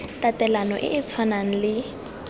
tatelano e e tshwanang le